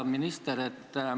Hea minister!